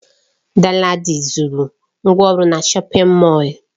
Danladi zuru ngwongwo na shọpin Mọll.